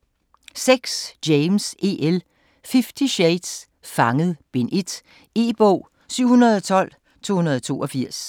James, E. L.: Fifty shades: Fanget: Bind 1 E-bog 712282